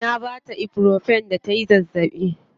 Na baa ta ibuprofen da tayi zazzaɓi.